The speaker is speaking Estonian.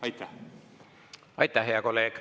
Aitäh, hea kolleeg!